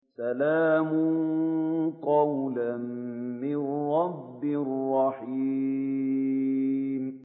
سَلَامٌ قَوْلًا مِّن رَّبٍّ رَّحِيمٍ